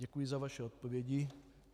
Děkuji za vaše odpovědi.